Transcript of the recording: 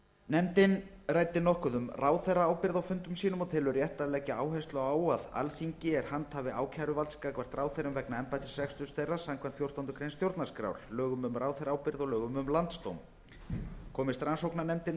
nefndin ræddi nokkuð um ráðherraábyrgð á fundum sínum og telur rétt að leggja áherslu á að alþingi er handhafi ákæruvalds gagnvart ráðherrum vegna embættisreksturs þeirra samkvæmt fjórtándu grein stjórnarskrár lögum um ráðherraábyrgð og lögum um landsdóm komist rannsóknarnefndin